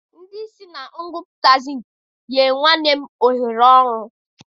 Ndị isi na ngwupụta zinki nyere nwanne m nwoke ohere ọrụ.